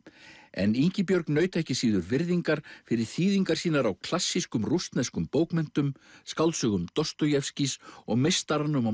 en Ingibjörg naut ekki síður virðingar fyrir þýðingar sínar á klassískum rússneskum bókmenntum skáldsögum og meistaranum og